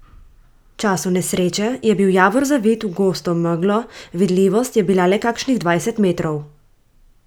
V času nesreče je bil Javor zavit v gosto meglo, vidljivost je bila le kakšnih dvajset metrov.